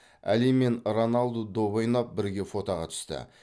әли мен роналду доп ойнап бірге фотоға түсті